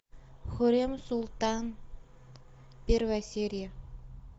хюррем султан первая серия